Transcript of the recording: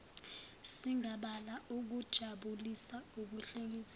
singabala ukujabulisa ukuhlekisa